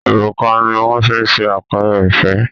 òrùka ní wón fí ṣe àpẹrẹ ìfẹ